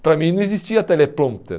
Para mim não existia teleprompter.